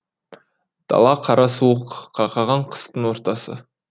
дала қара суық қақаған қыстың ортасы